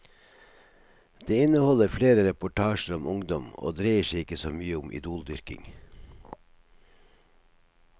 Det inneholder flere reportasjer om ungdom, og dreier seg ikke så mye om idoldyrking.